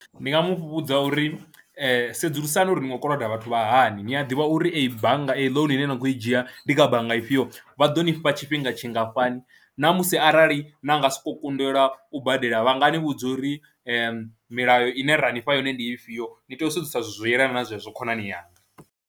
Ndi nga mu vhudza uri sedzulusani uri no khou koloda vhathu vha hani, ni a ḓivha uri eyi bannga eyi ḽounu ine na khou i dzhia ndi kha bannga ifhio, vha ḓo nifha tshifhinga tshingafhani na musi arali na nga sokou kundelwa u badela vha nga ni vhudza uri milayo ine ra ni fha yone ndi ifhio, ni tea u sedzesa zwithu zwo yelana na zwezwo khonani yanga.